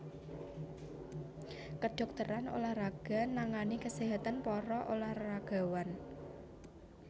Kedhokteran ulah raga nangani kaséhatan para ulah ragawan